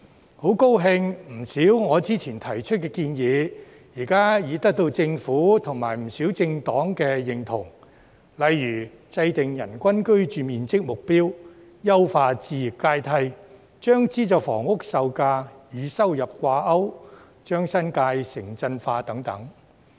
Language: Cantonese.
我很高興，我之前提出的不少建議，現已得到政府及不少政黨的認同，例如制訂人均居住面積目標、優化置業階梯、將資助房屋售價與收入掛鈎、將新界城鎮化等。